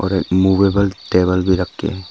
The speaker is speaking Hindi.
और एक मूवेबल टेबल भी रखे है।